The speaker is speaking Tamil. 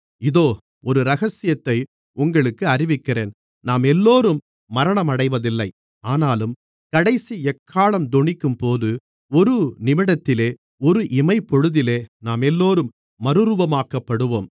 இதோ ஒரு இரகசியத்தை உங்களுக்கு அறிவிக்கிறேன் நாமெல்லோரும் மரணமடைவதில்லை ஆனாலும் கடைசி எக்காளம் தொனிக்கும்போது ஒரு நிமிடத்திலே ஒரு இமைப்பொழுதிலே நாமெல்லோரும் மறுரூபமாக்கப்படுவோம்